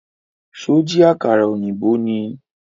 Ṣó jí àkàrà ọ̀yìnbó ni?